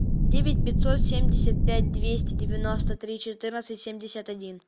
девять пятьсот семьдесят пять двести девяносто три четырнадцать семьдесят один